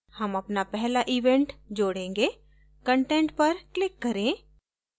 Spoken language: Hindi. हम अपना पहला event जोडेंगे content पर click करें